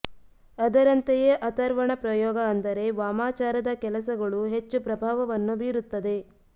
ಅದರಂತೆಯೇ ಅಥರ್ವಣ ಪ್ರಯೋಗ ಅಂದರೆ ವಾಮಾಚಾರದ ಕೆಲಸಗಳೂ ಹೆಚ್ಚು ಪ್ರಭಾವವನ್ನು ಬೀರುತ್ತದೆ